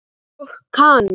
Og Kana?